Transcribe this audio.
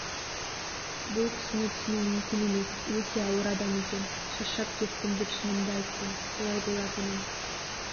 бұл кісіні түсіну мүмкін емес өте ауыр адам екен шаршап кеттім деп шынымды айттым солай болатынын